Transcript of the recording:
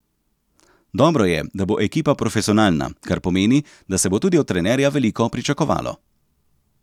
Dobro je, da bo ekipa profesionalna, kar pomeni, da se bo tudi od trenerja veliko pričakovalo.